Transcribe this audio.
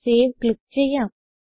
save click ചെയ്യാം